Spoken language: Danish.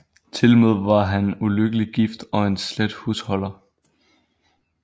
Tilmed var han ulykkelig gift og en slet husholder